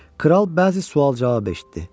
Kral bəzi sual-cavab eşitdi.